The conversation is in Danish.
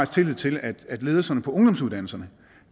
tillid til at ledelserne på ungdomsuddannelserne